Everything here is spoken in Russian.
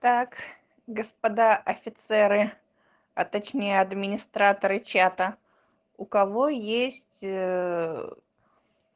так господа офицеры а точнее администраторы чата у кого есть